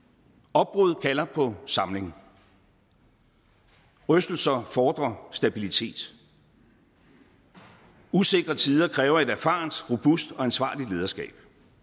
opbrud kalder på samling rystelser fordrer stabilitet usikre tider kræver et erfarent robust og ansvarligt lederskab